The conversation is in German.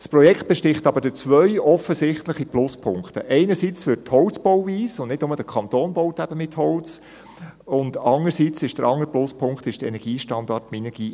Das Projekt besticht aber durch zwei offensichtliche Pluspunkte: Einerseits durch die Holzbauweise, denn nicht nur der Kanton baut mit Holz, und andererseits, als zweiter Pluspunkt, durch den MinergieStandard A.